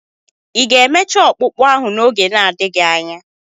Ị ga-emecha ọkpụkpụ ahụ n'oge na-adịghị anya?